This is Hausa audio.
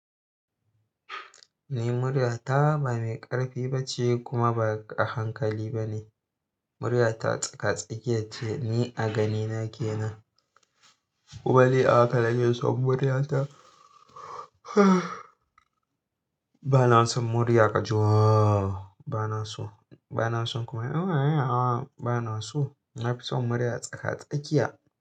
Ni murya ta ba mai ƙarfi ba ce kuma ba a hankali ba ne. Murya ta tsaka-tsakiya ce ni a ganina ke nan. Kuma ni a haka nake son murya ta. Ba na son murya ka ji waoo! Ba na so, ba na son kuma a a a ba na so. Na fi son murya tsaka-tsakiya.